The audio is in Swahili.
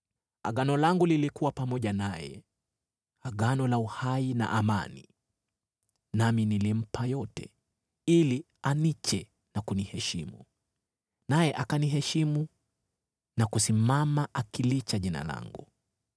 “Agano langu lilikuwa pamoja naye, agano la uhai na amani, nami nilimpa yote, ili aniche na kuniheshimu, naye akaniheshimu na kusimama akilicha Jina langu.